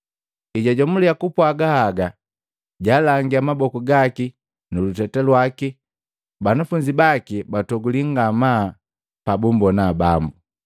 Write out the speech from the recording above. Ejajomula kupwaga haga, jaalangia maboku gaki nu luteta lwaki. Banafunzi baki batogulii ngamaa pabummbona Bambu.